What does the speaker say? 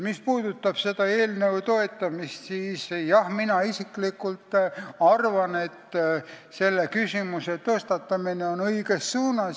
Mis puudutab selle eelnõu toetamist, siis jah, mina isiklikult arvan, et selle küsimuse tõstatamine on samm õiges suunas.